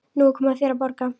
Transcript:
Nú er komið að þér að borga.